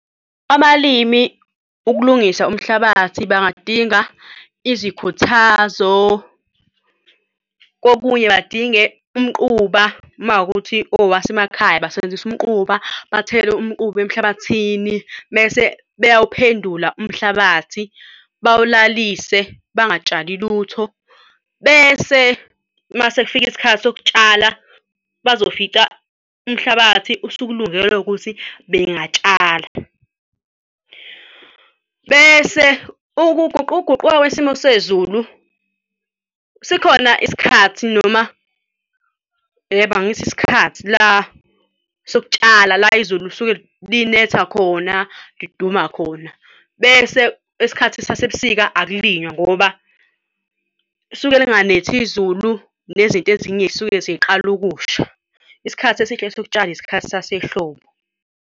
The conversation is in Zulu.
Abalimi ukulungisa umhlabathi bangadinga izikhuthazo kokunye badinge umquba uma kuwukuthi owasemakhaya basebenzisa umquba bathele umquba emhlabathini mese beyawuphendula umhlabathi bawulalise bangatshali lutho, bese mase kufika isikhathi sokutshala bazofica umhlabathi usukulungele ukuthi bengatshala. Bese ukuguquguquka kwesimo sezulu sikhona isikhathi noma, yebo angithi isikhathi la sokutshala la izulu lisuke linetha khona liduma khona bese isikhathi sasebusika akulinywa ngoba lisuke linganetha izulu, nezinto ezinye zisuke sey'qala ukusha. Isikhathi esihle sokutshala isikhathi sasehlobo.